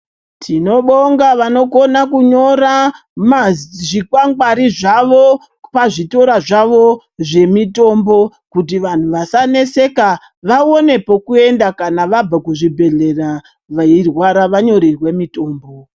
Tinobonga vanokona kunyora zvikwangwari zvavo pazvitora zvavo zvemitombo kuti vanhu vasaneseka vaone pekuenda kana vabve kuzvibhedhlera veirwara, vanyorerwe mitombo.